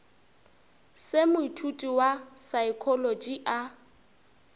se moithuti wa saekholotši a